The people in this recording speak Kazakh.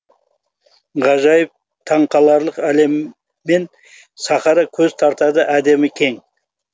ғажайып таң қаларлық әлемімен сахара көз тартады әдемі кең